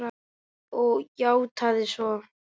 Og játað svo.